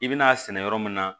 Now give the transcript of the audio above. I bɛn'a sɛnɛ yɔrɔ min na